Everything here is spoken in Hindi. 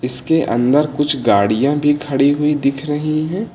इसके अंदर कुछ गाड़ियां भी खड़ी हुई दिख रही हैं।